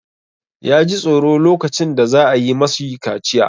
Ya ji tsoro lokacin da za a yi ma shi kaciya.